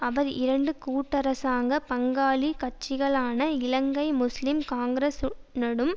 அவர் இரண்டு கூட்டரசாங்கப் பங்காளி கட்சிகளான இலங்கை முஸ்லிம் காங்கிரசுடனும்